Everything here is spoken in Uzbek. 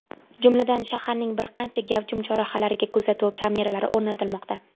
Jumladan, shaharning bir qancha gavjum chorrahalariga kuzatuv kameralari o‘rnatilmoqda.